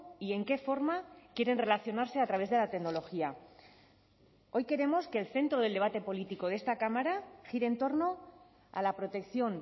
y en qué forma quieren relacionarse a través de la tecnología hoy queremos que el centro del debate político de esta cámara gire en torno a la protección